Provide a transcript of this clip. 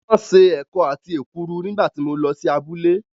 Wọ́n ṣe ẹ̀kọ àti èkuru nígbà tí mo lọ sí abúlé